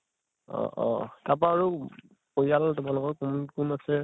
অʼ অʼ । তাপা আৰু পৰিয়াল তোমালোকৰ ৰ কোন কোন আছে ?